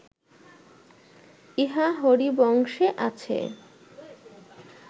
ইহা হরিবংশে আছে